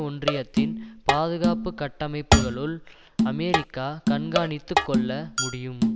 ஒன்றியத்தின் பாதுகாப்பு கட்டமைப்புக்களுள் அமெரிக்கா கண்காணித்துக்கொள்ள முடியும்